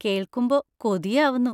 കേൾക്കുമ്പോ കൊതിയാവുന്നു.